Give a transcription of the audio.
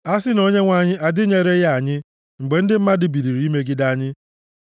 a sị na Onyenwe anyị adịnyereghị anyị, mgbe ndị mmadụ biliri imegide anyị,